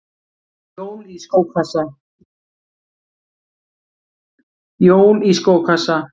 Jól í skókassa